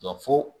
Dɔ fo